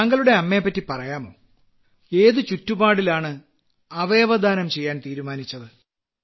താങ്കളുടെ അമ്മയെപ്പറ്റി പറയാമോ ഏതു ചുറ്റുപാടിലാണ് അവയവദാനം ചെയ്യാൻ തീരുമാനിച്ചത്